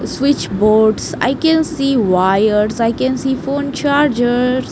Switch boards i can see wires i can see phone chargers.